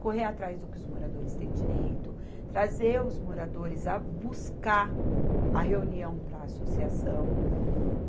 correr atrás do que os moradores têm direito, trazer os moradores a buscar a reunião para a associação.